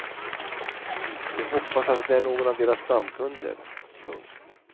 De hoppas att det är någon av deras stamkunder. punkt